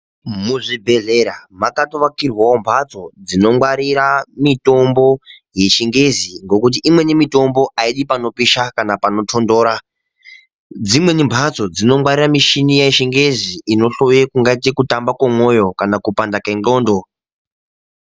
Muzvibhedlera makatovakirwao mbatso dzinongwarira mitombo yechingezi ngekuti imweni mitombo ayidi panopisha kana panotondora, dzimweni mbatso dzinongwarira mishini yechingezi inohloye kungaite kutamba kwemwoyo kana kupanda kengondo.